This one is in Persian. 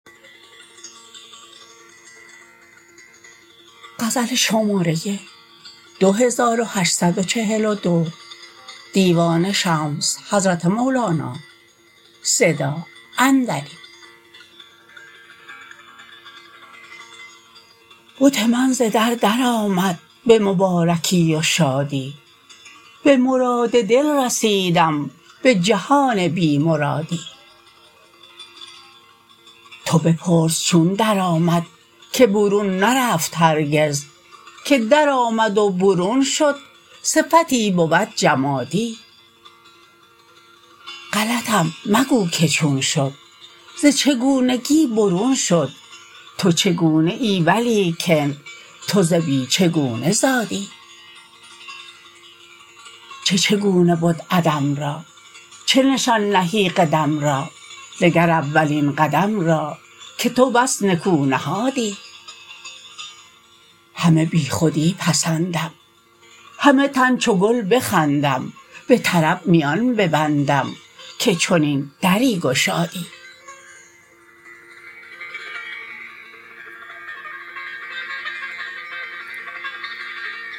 بت من ز در درآمد به مبارکی و شادی به مراد دل رسیدم به جهان بی مرادی تو بپرس چون درآمد که برون نرفت هرگز که درآمد و برون شد صفتی بود جمادی غلطم مگو که چون شد ز چگونگی برون شد تو چگونه ای ولیکن تو ز بی چگونه زادی چه چگونه بد عدم را چه نشان نهی قدم را نگر اولین قدم را که تو بس نکو نهادی همه بیخودی پسندم همه تن چو گل بخندم به طرب میان ببندم که چنین دری گشادی